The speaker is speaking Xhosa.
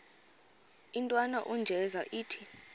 intwana unjeza ithi